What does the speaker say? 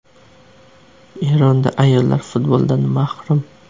Eronda ayollar futboldan mahrum.